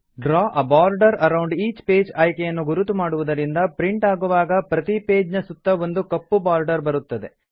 draw a border around each page ಆಯ್ಕೆಯನ್ನು ಗುರುತು ಮಾಡುವುದರಿಂದ ಪ್ರಿಂಟ್ ಆಗುವಾಗ ಪ್ರತೀ ಪೇಜ್ ನ ಸುತ್ತ ಒಂದು ಕಪ್ಪು ಬಾರ್ಡರ್ ಬರುತ್ತದೆ